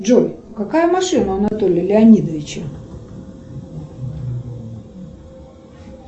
джой какая машина у анатолия леонидовича